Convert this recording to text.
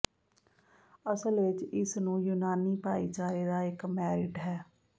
ਅਸਲ ਵਿੱਚ ਇਸ ਨੂੰ ਯੂਨਾਨੀ ਭਾਈਚਾਰੇ ਦਾ ਇੱਕ ਮੈਰਿਟ ਹੈ